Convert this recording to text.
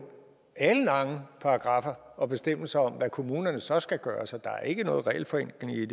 alenlange paragraffer og bestemmelser om hvad kommunerne så skal gøre så der er ikke noget regelforenkling i